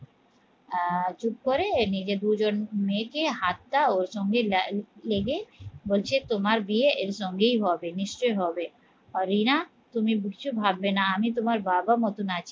আহ চুপ করে নিজে দুজন মেয়েকে হাতটা ওর সঙ্গে লেগে বলছে তোমার বিয়ে এর সঙ্গেই হবে, নিশ্চয়ই হবে আহ রিনা তুমি কিচ্ছু ভাববে না আমি তোমার বাবার মতন আছি